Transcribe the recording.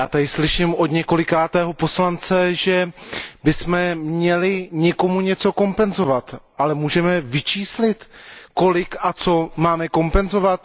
Já tady slyším od několikátého poslance, že bychom měli někomu něco kompenzovat, ale můžeme vyčíslit kolik a co máme kompenzovat?